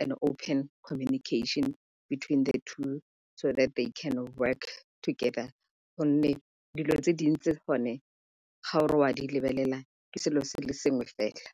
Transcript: an open connection between the two so they can work together gonne dilo tse dintsi gone ga o re o a di lebelela ke selo se le sengwe fela.